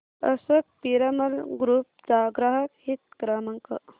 Ashok Piramal group चा ग्राहक हित क्रमांक